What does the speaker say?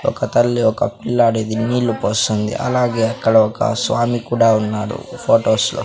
ఒక తల్లి ఒక పిల్లాడిది నీళ్లు పోస్తుంది అలాగే అక్కడ ఒక స్వామి కూడా ఉన్నారు ఫొటోస్ లో .